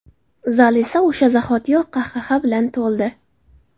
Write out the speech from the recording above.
Zal esa o‘sha zahotiyoq qahqaha bilan to‘ldi.